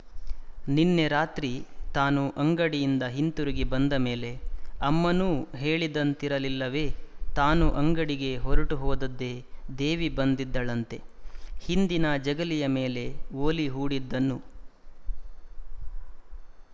ನಿನ್ನೆ ರಾತ್ರಿ ತಾನು ಅಂಗಡಿಯಿಂದ ಹಿಂತಿರುಗಿ ಬಂದ ಮೇಲೆ ಅಮ್ಮನೂ ಹೇಳಿದಂತಿರಲಿಲ್ಲವೇ ತಾನು ಅಂಗಡಿಗೆ ಹೊರಟು ಹೋದದ್ದೇ ದೇವಿ ಬಂದಿದ್ದಳಂತೆ ಹಿಂದಿನ ಜಗಲಿಯ ಮೇಲೆ ಒಲಿ ಹೂಡಿದ್ದನ್ನು